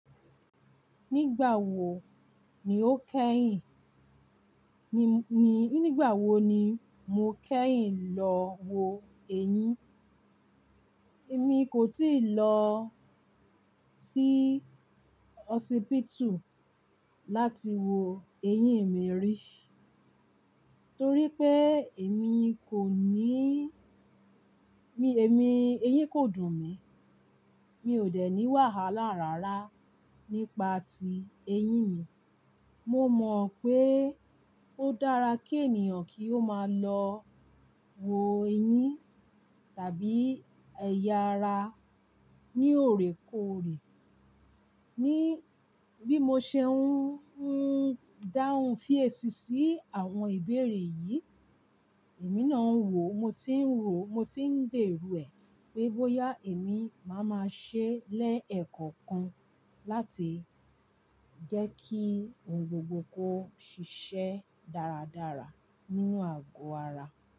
Nígbà wo ni o kẹ́yìn? Ni, nígbà wo ni mo kẹ́yìn lọ wo eyín? Èmi kò tíì lọ sí hospital láti wo eyín mi rí, torí pé èmi kò ní-- mi, èmi, eyín kò dùn mí. Mi ò dẹ̀ ní wàhálà rárá nípa ti eyín mi. Mo mọ̀ pé ó dára kí ènìyàn kí ó máa lọ wo eyín tàbí ẹ̀yà ara ní òrèkòrè. Ni bí mo ṣe ń, ń dáhùn fí èṣì sí àwọn ìbéèrè yìí, èmi náà ń wò ó, mo tí ń rò ó, mo tí ń gbèrò ẹ pé bóyá èmi máa ma ṣe lẹ́ẹ̀kọ̀kan láti jẹ́ kí ohun gbogbo kó ṣiṣẹ́ dáradára nínú àgọ́ ara.